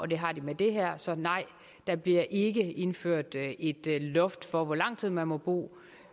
og det har de med det her så nej der bliver ikke indført et loft for hvor lang tid man må bo